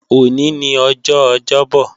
Òní ni ọjọ́ Ọjọ́bo̩